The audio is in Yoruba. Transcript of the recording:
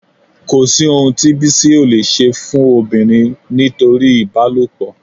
Kò sí ohun tí Bísí ò leè ṣe fún obìnrin nítorí ìbálòpọ̀